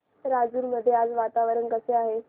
राजूर मध्ये आज वातावरण कसे आहे